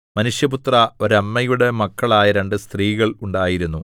മനുഷ്യപുത്രാ ഒരമ്മയുടെ മക്കളായ രണ്ടു സ്ത്രീകൾ ഉണ്ടായിരുന്നു